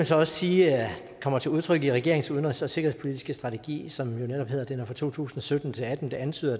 så også sige kommer til udtryk i regeringens udenrigs og sikkerhedspolitiske strategi som jo netop gælder for to tusind og sytten til atten det antyder